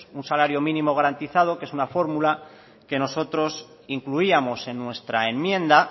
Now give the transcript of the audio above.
un salario mínimo garantizado que es una fórmula que nosotros incluíamos en nuestra enmienda